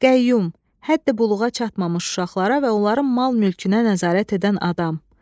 Qəyyum, həddi buluğa çatmamış uşaqlara və onların mal-mülkünə nəzarət edən adam.